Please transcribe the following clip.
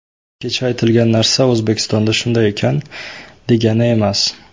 Kecha aytilgan narsa O‘zbekistonda shunday ekan, degani emas.